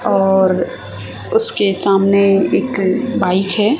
और उसके सामने एक बाइक है।